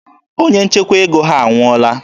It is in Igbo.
Onye nchekwa ego ha anwụọla.